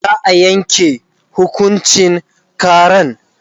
za'a Yanke hukuncin karan